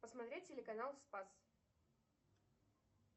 посмотреть телеканал спас